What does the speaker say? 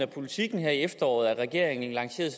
politiken her i efteråret at regeringen lancerede